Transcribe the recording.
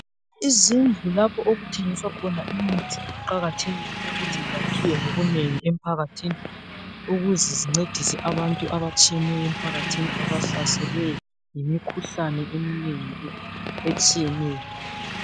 Izindlu lapho okuthengiswa khona imithi kuqakathekile ukuthi zakhiwe ngobunengi emphakathini ukuze zincedise abantu abatshiyeneyo abahlaselwe yimikhuhlane eminengi etshiyeneyo.